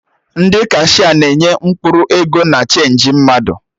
Ndị kashia na-enye mkpụrụ ego na chenji mmadụ